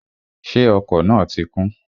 Ṣé ọkọ̀ náà ti kún?